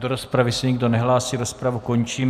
Do rozpravy se nikdo nehlásí, rozpravu končím.